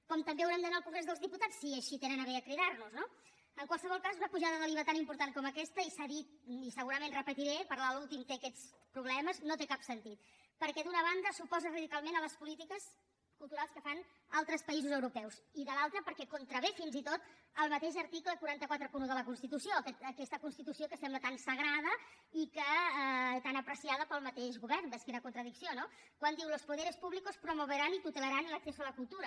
com també haurem d’anar al congrés dels diputats si així tenen a bé a cridar nos no en qualsevol cas una pujada de l’iva tan important com aquesta i s’ha dit i segurament ho repetiré parlar l’últim té aquests problemes no té cap sentit perquè d’una banda s’oposa radicalment a les polítiques culturals que fan altres països europeus i de l’altra perquè contravé fins i tot el mateix article quatre cents i quaranta un de la constitució aquesta constitució que sembla tan sagrada i tan apreciada pel mateix govern vés quina contradicció no quan diu los poderes públicos promoverán y tutelarán el acceso a la cultura